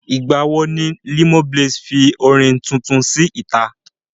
Nígbà wo ni Limoblaze fi orin tuntun sí ìta?